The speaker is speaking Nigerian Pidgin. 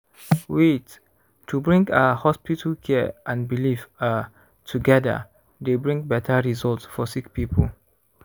wait- to bring ah hospital care and belief ah togeda dey bring beta result for sick poeple.